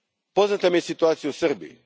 Poznata mi je situacija u Srbiji.